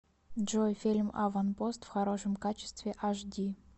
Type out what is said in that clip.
джой фильм аванпост в хорошем качестве аш ди